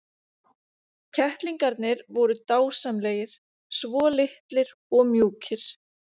Kettlingarnir voru dásamlegir, svo litlir og mjúkir.